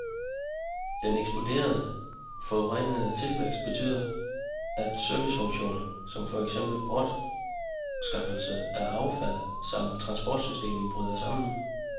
Den eksploderende, forurenende tilvækst betyder, at servicefunktioner, som for eksempel bortskaffelse af affald samt transportsystemet, bryder sammen.